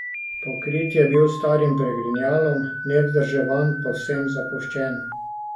Pokrit je bil s starim pregrinjalom, nevzdrževan, povsem zapuščen.